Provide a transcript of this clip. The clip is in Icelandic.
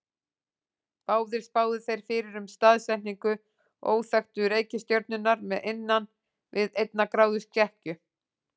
Báðir spáðu þeir fyrir um staðsetningu óþekktu reikistjörnunnar með innan við einnar gráðu skekkju.